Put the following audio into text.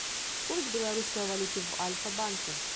курс белорусской валюты в альфа банке